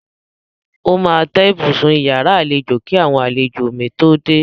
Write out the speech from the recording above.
Ó máa tẹ́ ibùsùn iyàrá àlejò kí àwọn àlejò mi tó dé.